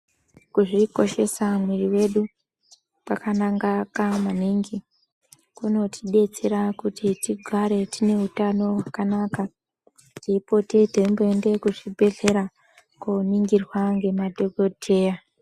Kuzvikoshesa mwiri wedu kwakanaka maningi. Kunotidetsera kuti tigare tine hutano hwakanaka, teipote teimboendeyo kuzvibhedhlera koningirwa nemadhokoteya.